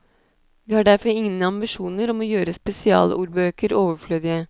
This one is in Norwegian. Vi har derfor ingen ambisjoner om å gjøre spesialordbøker overflødige.